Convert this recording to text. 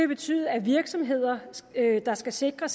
betyde at virksomheder der skal sikre